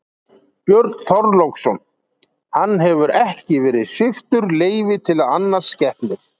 Björn Þorláksson: Hann hefur ekki verið sviptur leyfi til að annast skepnur?